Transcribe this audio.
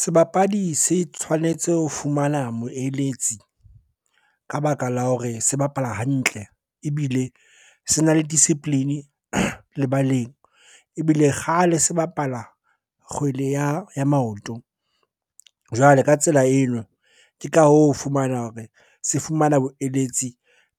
Sebapadi se tshwanetse ho fumana moeletsi ka baka la hore se bapala hantle, ebile se na le discipline lebaleng. Ebile kgale se bapala kgwele ya maoto. Jwale ka tsela eno, ke ka hoo o fumana hore se fumana boeletsi